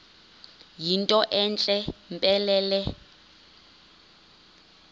yinto entle mpelele